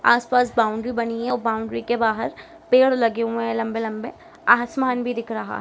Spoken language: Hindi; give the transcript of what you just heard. आस-पास बाउंड्री बनी है उ बाउंड्री के बाहर पेड़ लगे हुए है लम्बे-लम्बे आसमान भी दिख रहा है।